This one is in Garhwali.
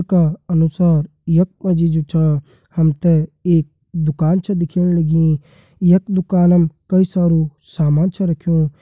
का अनुसार यक मजी जु छ हमते एक दुकान छ दिखेण लगीं यक दुकानम कई सारू सामान छ रख्यूं।